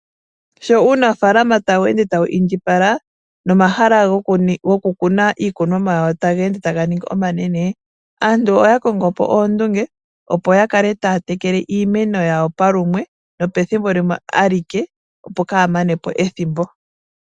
Sho uunafaalama tawu ende tawu indjipala nomahala goku kuna iikunomwa yawo taga ende taga ningi omanene. Aantu oyakongo po oondunge opo yakale taya tekele iimeno yawo palumwe nopethimbo limwe alike opo kaa ya mane po ethimbo.